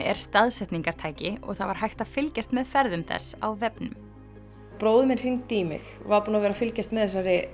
er staðsetningartæki og það var hægt að fylgjast með ferðum þess á vefnum bróðir minn hringdi í mig var búinn að vera að fylgjast með